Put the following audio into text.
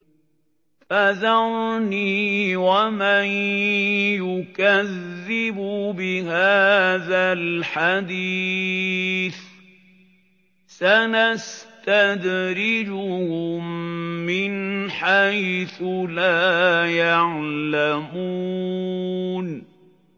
فَذَرْنِي وَمَن يُكَذِّبُ بِهَٰذَا الْحَدِيثِ ۖ سَنَسْتَدْرِجُهُم مِّنْ حَيْثُ لَا يَعْلَمُونَ